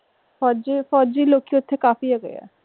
ਫੋਜੀ ਫੋਜੀ ਲੋਕੀ ਓਥੇ ਕਾਫੀ ਹੈਗੇ ਆ।